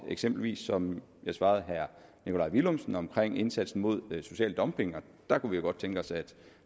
eksempelvis som jeg svarede herre nikolaj villumsen omkring indsatsen mod social dumping der kunne vi jo godt tænke os at